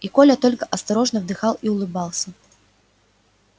и коля только осторожно вздыхал и улыбался